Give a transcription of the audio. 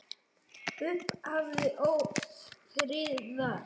Í upphafi ófriðar